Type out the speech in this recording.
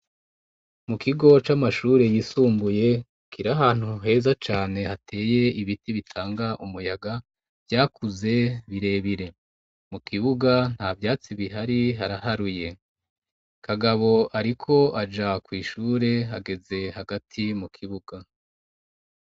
Mu kigo c'amashure yisumbuye kiri ahantu heza cane, hateye ibiti bitanga umuyaga, vyakuze birebire. Mu kibuga, nta vyatsi bihari, haraharuye. Kagabo ariko aja kw'ishure, ageze hagati mu kibuga.